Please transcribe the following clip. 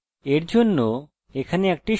আমরা এখন ডেটাবেসেস বানাতে যাচ্ছি